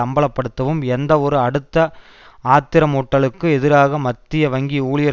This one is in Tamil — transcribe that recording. அம்பலப்படுத்தவும் எந்தவொரு அடுத்த ஆத்திரமூட்டளுக்கு எதிராக மத்திய வங்கி ஊழியர்